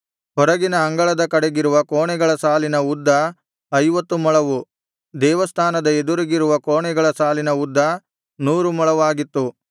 ಹೊರಗಿನ ಅಂಗಳದ ಕಡೆಗಿರುವ ಕೋಣೆಗಳ ಸಾಲಿನ ಉದ್ದ ಐವತ್ತು ಮೊಳವು ದೇವಸ್ಥಾನದ ಎದುರಿಗಿರುವ ಕೋಣೆಗಳ ಸಾಲಿನ ಉದ್ದ ನೂರು ಮೊಳವಾಗಿತ್ತು